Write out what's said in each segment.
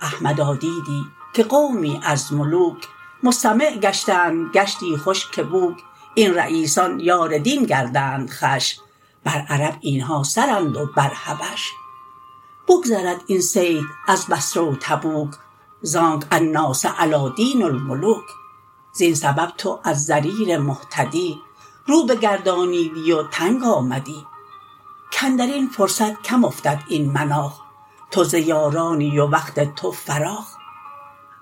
احمدا دیدی که قومی از ملوک مستمع گشتند گشتی خوش که بوک این رییسان یار دین گردند خوش بر عرب اینها سرند و بر حبش بگذرد این صیت از بصره و تبوک زانک الناس علی دین الملوک زین سبب تو از ضریر مهتدی رو بگردانیدی و تنگ آمدی کندرین فرصت کم افتد این مناخ تو ز یارانی و وقت تو فراخ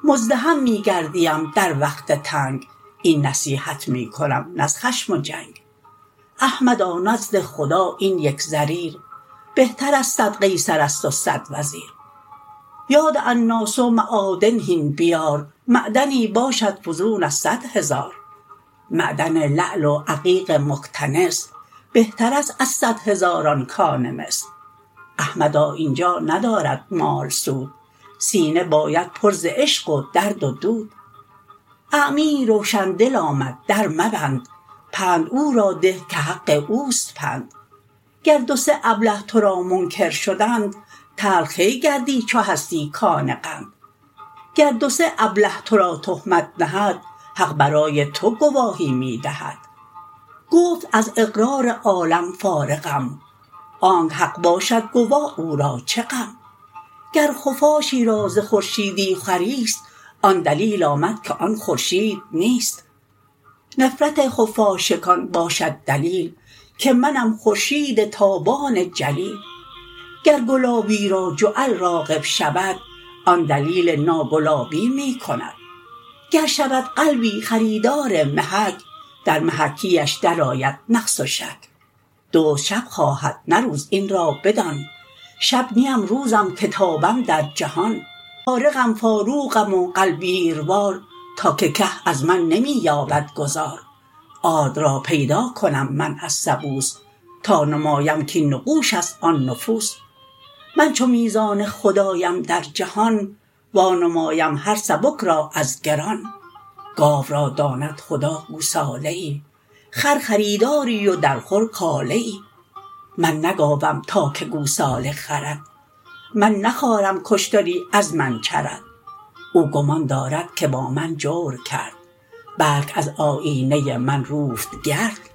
مزدحم می گردیم در وقت تنگ این نصیحت می کنم نه از خشم و جنگ احمدا نزد خدا این یک ضریر بهتر از صد قیصرست و صد وزیر یاد الناس معادن هین بیار معدنی باشد فزون از صد هزار معدن لعل و عقیق مکتنس بهترست از صد هزاران کان مس احمدا اینجا ندارد مال سود سینه باید پر ز عشق و درد و دود اعمیی روشن دل آمد در مبند پند او را ده که حق اوست پند گر دو سه ابله ترا منکر شدند تلخ کی گردی چو هستی کان قند گر دو سه ابله ترا تهمت نهد حق برای تو گواهی می دهد گفت از اقرار عالم فارغم آنک حق باشد گواه او را چه غم گر خفاشی را ز خورشیدی خوریست آن دلیل آمد که آن خورشید نیست نفرت خفاشکان باشد دلیل که منم خورشید تابان جلیل گر گلابی را جعل راغب شود آن دلیل ناگلابی می کند گر شود قلبی خریدار محک در محکی اش در آید نقص و شک دزد شب خواهد نه روز این را بدان شب نیم روزم که تابم در جهان فارقم فاروقم و غلبیروار تا که که از من نمی یابد گذار آرد را پیدا کنم من از سبوس تا نمایم کین نقوشست آن نفوس من چو میزان خدایم در جهان وا نمایم هر سبک را از گران گاو را داند خدا گوساله ای خر خریداری و در خور کاله ای من نه گاوم تا که گوسالم خرد من نه خارم که اشتری از من چرد او گمان دارد که با من جور کرد بلک از آیینه من روفت گرد